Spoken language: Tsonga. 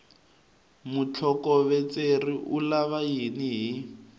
mutlhokovetseri u vula yini hi